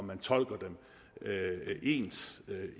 man tolker dem ens